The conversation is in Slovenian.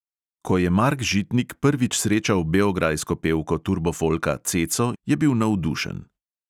Ko je mark žitnik prvič srečal beograjsko pevko turbofolka ceco, je bil navdušen.